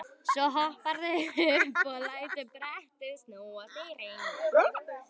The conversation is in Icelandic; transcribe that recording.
Svo hopparðu upp og lætur brettið snúast í hring.